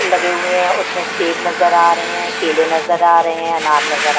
लगे हुए हैं उसमें सेब नजर आ रहे हैं केले नजर आ रहे हैं अनार नजर आ--